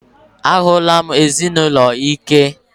A hụla m ezinụlọ ike.